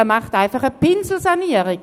Er macht einfach eine Pinselsanierung.